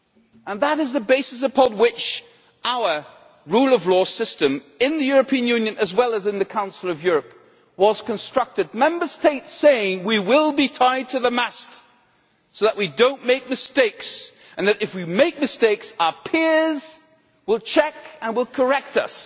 And that is the basis upon which our rule of law system in the European Union, and in the Council of Europe, was constructed by Member States saying We will be tied to the mast, so that we do not make mistakes, and if we make mistakes our peers will check and correct us.'